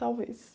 Talvez.